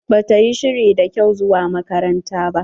Ba ta yi shiri da kyau zuwa makaranta ba.